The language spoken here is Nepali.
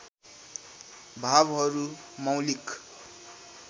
भावहरू मौलिक